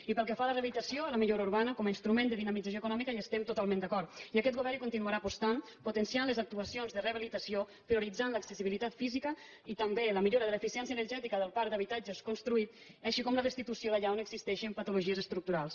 i pel que fa a la rehabilitació i la millora urbana com a instrument de dinamització econòmica hi estem totalment d’acord i aquest govern hi continuarà apostant potenciant les actuacions de rehabilitació prioritzant l’accessibilitat física i també la millora de l’eficiència energètica del parc d’habitatges construït així com la restitució allà on existeixin patologies estructurals